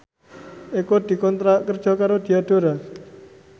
Eko dikontrak kerja karo Diadora